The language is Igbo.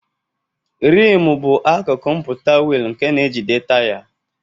Rimu bụ akụkụ mpụta wiili nke na-ejide taya.